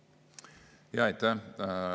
Aitäh!